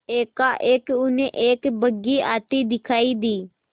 एकाएक उन्हें एक बग्घी आती दिखायी दी